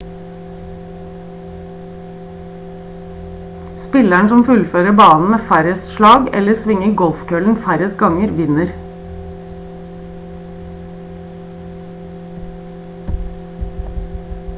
spilleren som fullfører banen med færrest slag eller svinger golfkøllen færrest ganger vinner